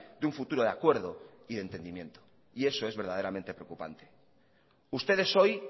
de un futuro de acuerdo y de entendimiento y eso es verdaderamente preocupante ustedes hoy